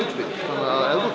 að